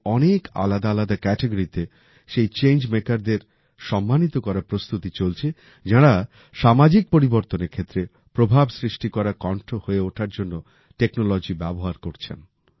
এর অনেক আলাদা আলাদা ক্যাটাগরিতে সেই চেঞ্জ মেকারদের সম্মানিত করার প্রস্তুতি চলছে যাঁরা সামাজিক পরিবর্তনের ক্ষেত্রে প্রভাব সৃষ্টি করা কন্ঠ হয়ে ওঠার জন্য টেকনোলজির ব্যবহার করছেন